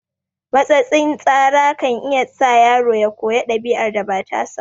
Matsatsin tsara kan iya sa yaro ya koyi ɗabi'ar da ba tasa ba